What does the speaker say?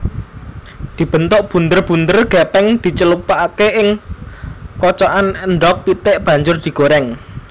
Dibentuk bunder bunder gepeng dicelupake ing kocokan endhog pitik banjur digoreng